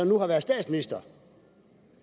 nu har været statsminister